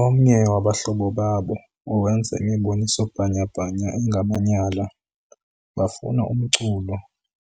Omnye wabahlobo babo, owenza imiboniso bhanyabhanya engamanyala, bafuna umculo